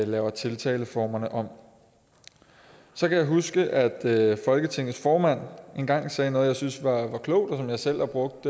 laver tiltaleformerne om så kan jeg huske at folketingets formand engang sagde noget som jeg synes var klogt og som jeg selv har brugt